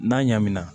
N'a ɲanminan